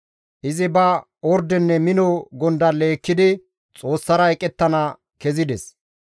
Izi ba ordenne mino gondalle ekkidi Xoossara eqettana kezides.